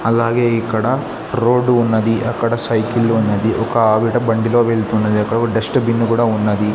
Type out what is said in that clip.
అలాగే ఇక్కడ రోడ్డు ఉన్నది అక్కడ సైకిల్ ఉన్నది ఒకావిడ బండి లో వెళ్తున్నది అక్కడ కూడా డస్ట్ బిన్ కూడా ఉన్నది.